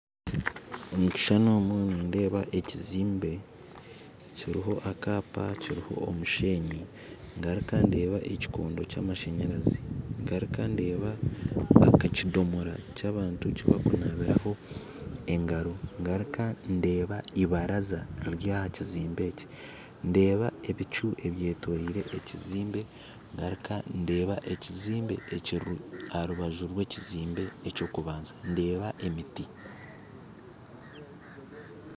Omu kishushani omu nindeeba ekizimbe kiriho akaapa kiriho omusheenyi. Ngaruka ndeeba ekikondo kyamashanyarazi ngaruka ndeeba akakidomora ky'abantu kibarikunabiraho engaro ngaruka ndeeba ibaraza riri aha kizimbe eki ndeeba ebicu ebyetoriire ekizimbe ngaruka ndeeba ekizimbe ekiri aha rubaju rwa ekizimbe eky'okubanza ndeeba emiti